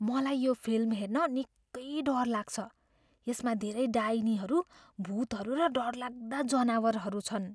मलाई यो फिल्म हेर्न निकै डर लाग्छ। यसमा धेरै डाइनीहरू, भुतहरू र डरलाग्दा जनावरहरू छन्।